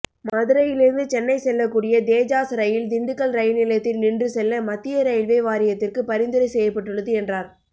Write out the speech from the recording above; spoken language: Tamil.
மதுரையிலிருந்து சென்னை செல்லக்கூடிய தேஜாஸ் ரயில் திண்டுக்கல் ரயில்நிலையத்தில் நின்று செல்ல மத்திய ரயில்வே வாரியத்திற்கு பரிந்துரை செய்யப்பட்டுள்ளது என்றார்